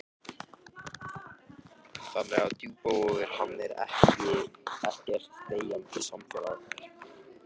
Kristján Már: Þannig að Djúpivogur, hann er ekkert deyjandi samfélag?